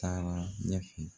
Taara ɲɛf